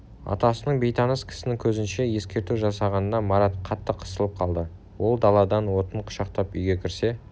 атасының бейтаныс кісінің көзінше ескерту жасағанына марат қатты қысылып қалды ол даладан отын қүшақтап үйге кірсе